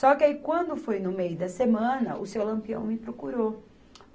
Só que aí quando foi no meio da semana, o seu Lampião me procurou.